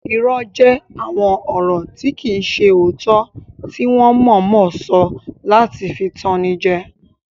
Irọ́ jẹ́ àwọn ọ̀rọ̀ tí kìí ṣe òótọ́ tí wọ́n mọ̀ọ́mọ̀ sọ láti fi tan ni jẹ